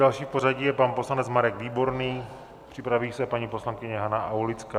Další v pořadí je pan poslanec Marek Výborný, připraví se paní poslankyně Jana Aulická.